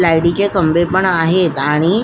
लाइटीचे खंबे पण आहेत आणि--